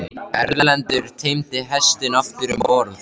Erlendur teymdi hestinn aftur um borð.